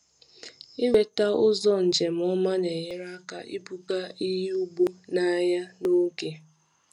Ịnweta ụzọ njem ọma na-enyere aka ibuga ihe ugbo n’ahịa n’oge.